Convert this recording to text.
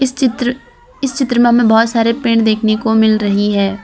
चित्र इस चित्र में बहुत सारे पेड़ देखने को मिल रही है।